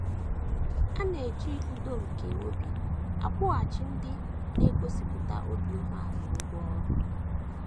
A na - eji udo nke obi akwụghachi ndị na - egosipụta obi umeala ụgwọ ọrụ.